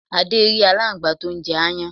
Adé rí alángbá tó n jẹ aáyán